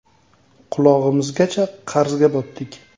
Qulog‘imizgacha qarzga botdik.